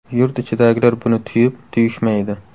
Yurt ichidagilar buni tuyib, tuyishmaydi.